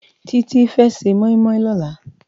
Titi fè sé moimoi lòlá